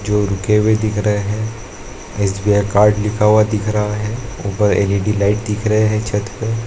जो रुको हुए दिख रहे है एस.बी.आई. कार्ड लिखा हुआ दिख रहा है ऊपर एल.इ.डी लाइट दिख रहे है छत पर।